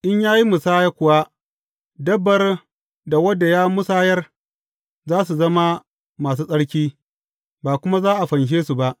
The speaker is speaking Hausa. In ya yi musaya kuwa, dabbar da wadda ya musayar, za su zama masu tsarki, ba kuma za a fanshe su ba.’